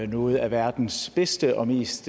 noget af verdens bedste og mest